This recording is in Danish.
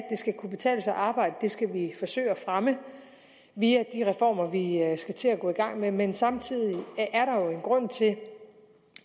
skal kunne betale sig at arbejde skal vi forsøge at fremme via de reformer vi skal til at gå i gang med men samtidig er der jo en grund til